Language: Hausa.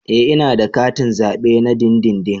Ee ina da katin zabe na dindindin